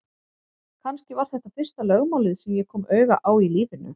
Kannski var þetta fyrsta lögmálið sem ég kom auga á í lífinu.